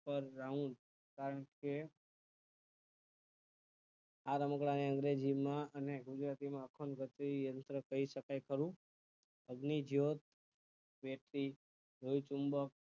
પર round કારણ કે આ રમકડાં ની અને ગુજરાતી નો અખંડમધ્યય યંત્ર કહી શકાય ખરું અહી જો લોહીચૂમબક